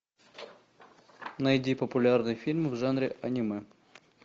найди популярный фильм в жанре аниме